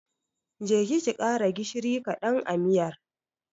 Je ki ki ƙara gishiri ƙadan a miyar.